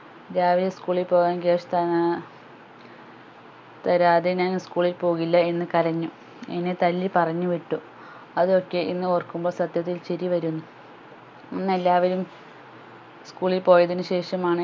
രാവിലെ school ൽ പോകാൻ cash താഏർ തരാതെ ഞാൻ school ൽ പോകില്ല എന്ന് കരഞ്ഞു എന്നെ തല്ലി പറഞ്ഞുവിട്ടു അത് ഒക്കെ ഇന്ന് ഓർക്കുമ്പോൾ സത്യത്തിൽ ചിരിവരുന്നു അന്ന് എല്ലാവരും school ൽ പോയതിനു ശേഷമാണ്